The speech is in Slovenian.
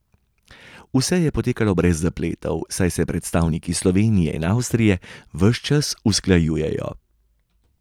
Vse je potekalo brez zapletov, saj se predstavniki Slovenije in Avstrije ves čas usklajujejo.